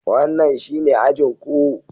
Wannan shine ajin ku.